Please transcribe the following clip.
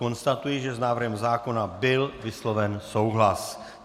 Konstatuji, že s návrhem zákona byl vysloven souhlas.